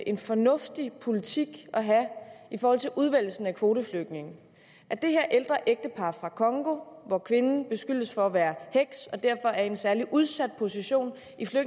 en fornuftig politik at have i forhold til udvælgelsen af kvoteflygtninge at det her ældre ægtepar fra congo hvor kvinden beskyldes for at være heks og derfor er i en særlig udsat position